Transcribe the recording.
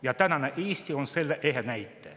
Ja tänane Eesti on selle ehe näide.